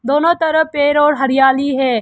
दोनों तरफ पेड़ और हरियाली है।